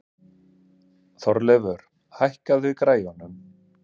Þorleifur, hækkaðu í græjunum.